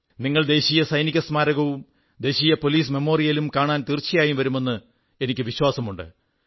നിങ്ങൾ ദേശീയ സൈനിക സ്മാരകവും ദേശീയ പോലീസ് മെമ്മോറിയലും കാണാൻ തീർച്ചയായും വരുമെന്ന് എനിക്കു വിശ്വാസമുണ്ട്